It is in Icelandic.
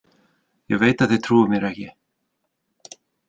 Ég veit þið trúið mér ekki.